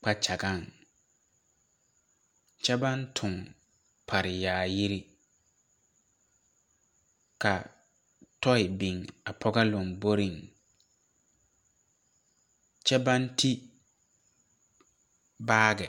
kpakyagaŋ kyɛ baŋ toŋ pare bilii ka tɔɔi biŋ a pɔgɔ lomboreŋ kyɛ baŋ two baagi.